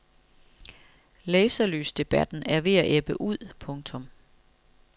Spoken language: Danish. Laserlysdebatten er ved at ebbe ud. punktum